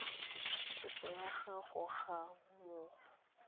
kopo ya gago ga mmogo